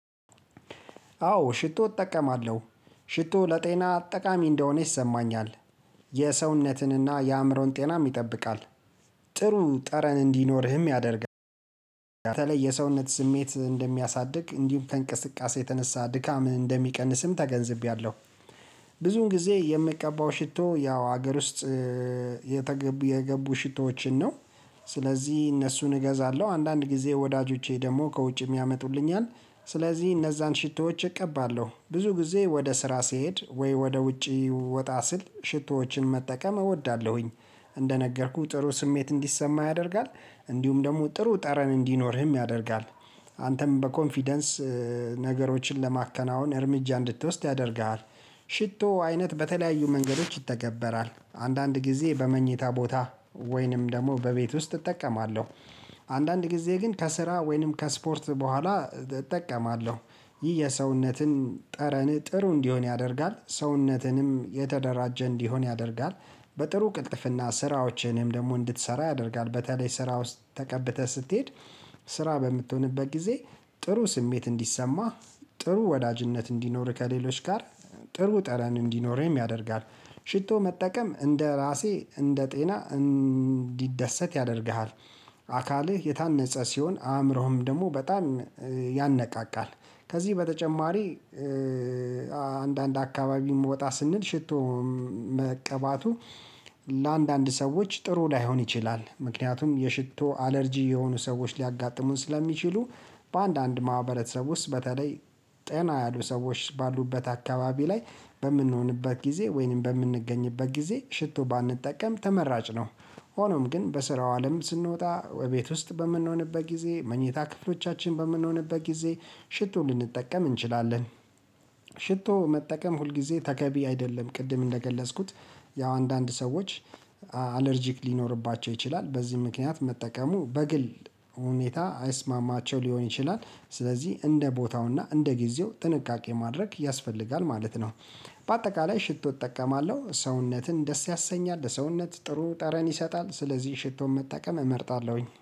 አዎ ሽቶ እጠቀማለሁ ሽቶ ለጤና ጠቃሚ እንደሆነ ይሰማኛል። የሰውነትንና የአእምሮን ጤናም ይጠብቃል። ጥሩን ጠረን እንዲኖርህም ያደርጋል። በተለይ የሰውነት ስሜት እንደሚያሳድግ እንዲሁም ከእንቅስቃሴ የተነሳ ድካም እንደሚቀንስም ተገንዝቤያለሁ። ብዙ ጊዜ የምቀባው ሽቶ ያው ሀገር ውስጥ የገቡ ሽቶዎችን ነው። ስለዚህ እነሱን እገዛለሁ አንዳንድ ጊዜ ወዳጆቼ ደግሞ ከውጭ የሚያመጡልኝን ስለዚህ እነዛን ሽቶዎች እቀባለሁ ብዙ ጊዜ ወደ ስራ ስሄድ ወይ ወደ ውጪ ወጣ ስል ሽቶዎችን መጠቀም እወዳለሁኝ። እንደነገርኩህ ጥሩ ስሜት እንዲሰማህ ያደርጋል። እንዲሁም ደግሞ ጥሩ ጠረን እንዲኖርህም ያደርጋል። አንተም በኮንፊደንስ ነገሮችን ለማከናወን እርምጃ እንድትወስድ ያደርግሃል። ሽቶ አይነት በተለያዩ መንገዶች ይተገበራል አንዳንድ ጊዜ በመኝታ ቦታ ወይንም ደግሞ በቤት ውስጥ እጠቀማለሁ። አንዳንድ ጊዜ ግን ከስራ ወይንም ከስፖርት በኋላ እጠቀማለሁ። ይህ የሰውነትን ጠረን ጥሩ እንዲሆን ያደርጋል ሰውነትንም የተደራጀ እንዲሆን ያደርጋል። በጥሩ ቅልጥፍና ስራዎችንም ደግሞ እንድትሰራ ያደርጋል በተለይ ስራ ውስጥ ተቀብተህ ስትሄድ። ስራ በምትሆንበት ጊዜ ጥሩ ስሜት እንዲሰማህ ጥሩ ወዳጅነት እንዲኖር ከሌሎች ጋር ጥሩ ጠረን እንዲኖረኝ ያደርጋል። ሽቶ መጠቀም እንደራሴ እንደጤና እንዲደሰት ያደርግሃል። አካልህ የታነጸ ሲሆን አእምሮህም ደግሞ በጣም ያነቃቃል። ከዚህ በተጨማሪ አንዳንድ አካባቢም ወጣ ስንል ሽቶ መቀባቱ ለአንዳንድ ሰዎች ጥሩ ላይሆን ይችላል ምክንያቱም የሽቶ አለርጂ የሆኑ ሰዎች ሊያጋጥሙን ስለሚችሉ። በአንዳንድ ማህበረሰብ ውስጥ በተለይ ጠና ያሉ ሰዎች ባሉበት አካባቢ ላይ በምንሆንበት ጊዜ ወይንም በምንገኝበት ጊዜ ሽቶ ባንጠቀም ተመራጭ ነው። ሆኖም ግን በስራው አለም ስንወጣ ቤት ውስጥ በምንሆንበት ጊዜ መኝታ ክፍሎቻችን በምንሆንበት ጊዜ ሽቱን ልንጠቀም እንችላለን። ሽቶ መጠቀም ሁልጊዜ ተገቢ አይደለም ቅድም እንደገለጽኩት። ያው አንዳንድ ሰዎች አለርጂክ ሊኖርባቸው ይችላል። በዚህ ምክንያት መጠቀሙ በግል ሁኔታ አይስማማቸው ሊሆን ይችላል። ስለዚህ እንደ ቦታውና እንደ ጊዜው ጥንቃቄ ማድረግ ያስፈልጋል ማለት ነው። በአጠቃላይ ሽቶ እጠቀማለሁ ሰውነትን ደስ ያሰኛል ለሰውነት ጥሩ ጠረን ይሰጣል ስለዚህ ሽቶን መጠቀም እመርጣለሁኝ